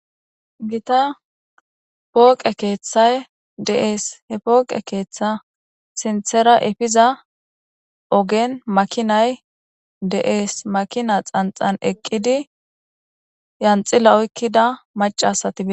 Gita pooqe keeththay de.ees he pooqe keeththa sinthera efiza ogen makinay de'ees makina xanxan eqqidi yanxila oykkida macasatie.